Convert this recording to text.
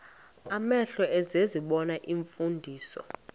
amehlo ezibona iimfundiso